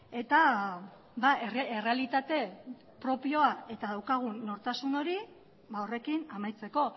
eta errealitate propioa eta daukagun nortasun hori horrekin amaitzeko